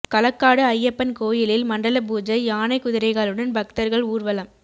களக்காடு ஐயப்பன் கோயிலில் மண்டல பூஜை யானை குதிரைகளுடன் பக்தர்கள் ஊர்வலம்